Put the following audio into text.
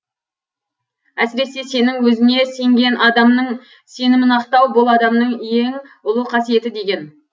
әсіресе сенің өзіне сенген адамның сенімін ақтау бұл адамның ең ұлы қасиеті деген